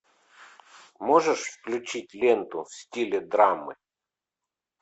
можешь включить ленту в стиле драмы